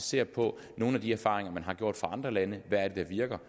ser på nogle af de erfaringer man har gjort i andre lande hvad er det der virker